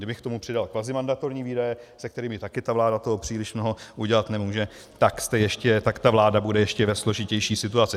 Kdybych k tomu přidal kvazimandatorní výdaje, se kterými také ta vláda toho příliš mnoho udělat nemůže, tak ta vláda bude ještě ve složitější situaci.